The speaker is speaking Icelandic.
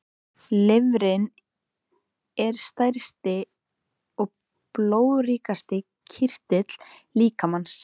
Lifrin er stærsti og blóðríkasti kirtill líkamans.